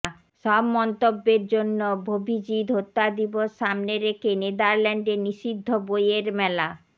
সব মন্তব্যের জন্য অভিজিৎ হত্যাদিবস সামনে রেখে নেদারল্যান্ডে নিষিদ্ধ বইয়ের মেলা